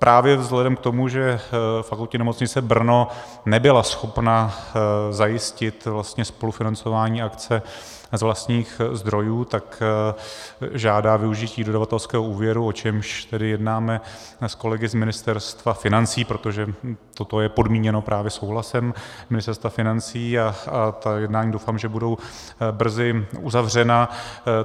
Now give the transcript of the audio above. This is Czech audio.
Právě vzhledem k tomu, že Fakultní nemocnice Brno nebyla schopna zajistit vlastně spolufinancování akce z vlastních zdrojů, tak žádá využití dodavatelského úvěru, o čemž tedy jednáme s kolegy z Ministerstva financí, protože toto je podmíněno právě souhlasem Ministerstva financí, a ta jednání, doufám, že budou brzy uzavřena.